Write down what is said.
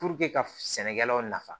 ka sɛnɛkɛlaw nafa